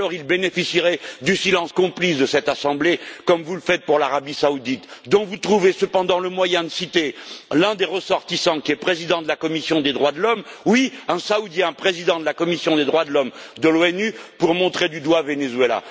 Parce qu'alors, il bénéficierait du silence complice de cette Assemblée, comme vous le faites pour l'Arabie saoudite, dont vous trouvez cependant le moyen de citer l'un des ressortissants, qui est président de la commission des droits de l'homme oui, un Saoudien, président de la commission des droits de l'homme de l'ONU pour montrer du doigt le Venezuela!